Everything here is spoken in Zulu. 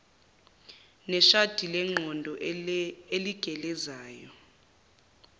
neshadi lengqondo eligelezayo